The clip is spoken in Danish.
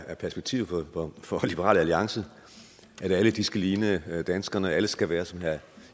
er perspektivet for liberal alliance at alle skal ligne danskerne at alle skal være som herre